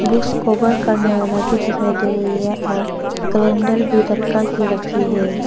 Books cover करने वाला भी दिखाई दे रही है और कैलेंडर भी लटका के रखी है।